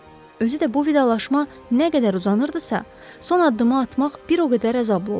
Özü də bu vidalaşma nə qədər uzanırdısa, son addımı atmaq bir o qədər əzablı olurdu.